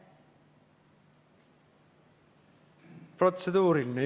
Protseduuriline küsimus.